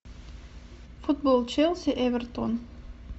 футбол челси эвертон